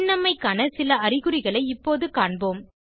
சின்னம்மைக்கான சில அறிகுறிகளை இப்போது காண்போம்